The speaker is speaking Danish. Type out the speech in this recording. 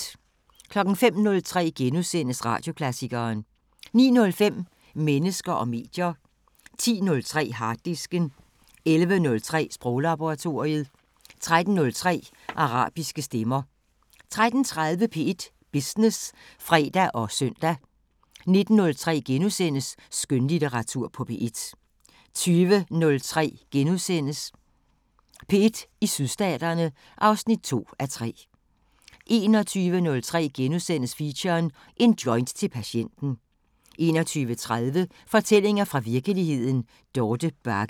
05:03: Radioklassikeren * 09:05: Mennesker og medier 10:03: Harddisken 11:03: Sproglaboratoriet 13:03: Arabiske Stemmer 13:30: P1 Business (fre og søn) 19:03: Skønlitteratur på P1 * 20:03: P1 i Sydstaterne (2:3)* 21:03: Feature: En joint til patienten * 21:30: Fortællinger fra virkeligheden – Dorte Bagge